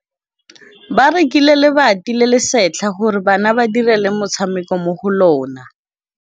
Ba rekile lebati le le setlha gore bana ba dire motshameko mo go lona.